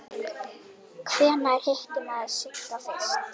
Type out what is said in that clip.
Hvenær hitti maður Sigga fyrst?